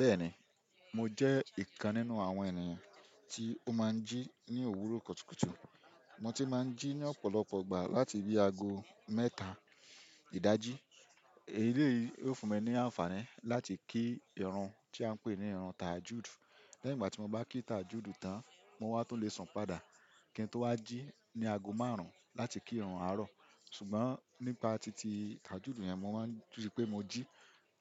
Bẹ́ẹ̀ni, mo jẹ́ ìkan nínú àwọn ènìyàn tí ó máa ń jí ní òwúrọ̀ kùtùkùtù. Mo ti máa ń jí ní ọ̀pọ̀lọpọ̀ ìgbà láti bí aago mẹ́ta ìdájí. Èleyi yóò fún mi ní àǹfààní láti kí ìrun tí à ń pè ní ìrun tajude. Ní ìgbà tí mo bá kí tajude tán, mo wá tó lè sun padà. Kín tun wá jí ní aago márùn-ún láti kí ìrun àárọ̀ kutu. Ṣùgbọ́n nípa titi tajude yẹn, mo máa ń rii pé mo jí